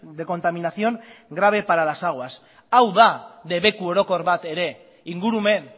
de contaminación grave para las aguas hau da debeku orokor bat ere ingurumen